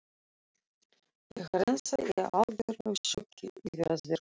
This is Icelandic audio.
Ég er ennþá í algjöru sjokki yfir að verk